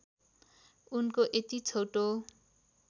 उनको यति छोटो